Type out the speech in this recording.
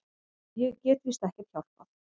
Ég get víst ekkert hjálpað.